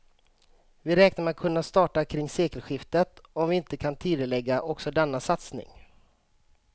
Vi räknar med att kunna starta kring sekelskiftet om vi inte kan tidigarelägga också denna satsning.